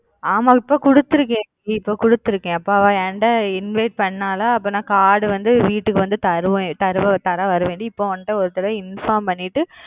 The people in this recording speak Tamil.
ஆமா இப்ப குடுத்துருக்கன் குடுத்துருக்கன் அப்ப அவ ஏன்ட invite பன்னலாலா அப்ப நா card வந்து வீட்டுக்கு வந்து தருவன் தர வருவன் டி இப்ப உங்கிட்ட ஒருதரவ inform பண்ணிட்டு